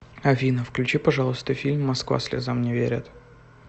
афина включи пожалуйста фильм москва слезам не верит